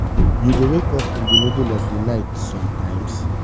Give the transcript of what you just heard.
you dey wake up in di middle of di night sometimes?